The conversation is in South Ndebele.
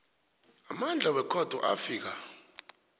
amandla wekhotho afika